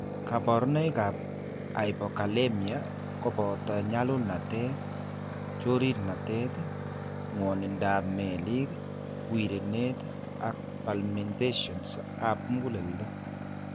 Kaborunoik ab hypokalemia koboto nyalulnatet, chorirnatet, ng'wonindab meelik, wirenet ak palpitations ab muguleldo